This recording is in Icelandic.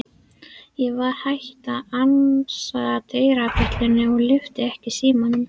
Ég var hætt að ansa dyrabjöllunni og lyfti ekki símanum.